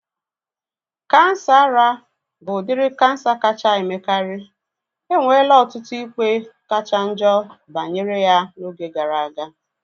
Kansa ara bụ udiri kansa kacha emekari. Enwela ọtụtụ ikpe kachanjo banyere ya na oge gara aga